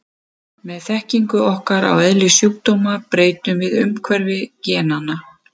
Með þekkingu okkar á eðli sjúkdóma breytum við umhverfi genanna.